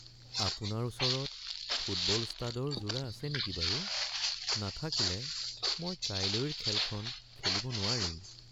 আপোনাৰ ওচৰত ফুটবল ষ্টাডৰ যোৰা আছে নেকি বাৰু? নাথাকিলে মই কাইলৈৰ খেলখন খেলিব নোৱাৰিম।